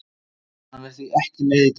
Hann er því ekki með í dag.